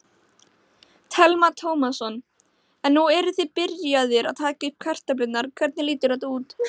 Telma Tómasson: En nú eruð þið byrjaðir að taka upp kartöflurnar, hvernig lítur þetta út?